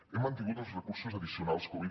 hem mantingut els recursos addicionals covid